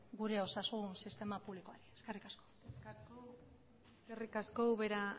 gure osasun sistema publikoan eskerrik asko eskerrik asko ubera